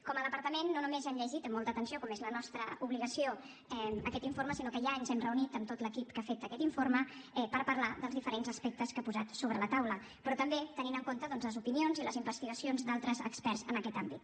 com a departament no només hem llegit amb molta atenció com és la nostra obligació aquest informe sinó que ja ens hem reunit amb tot l’equip que ha fet aquest informe per parlar dels diferents aspectes que ha posat sobre la taula però també tenint en compte doncs les opinions i les investigacions d’altres experts en aquest àmbit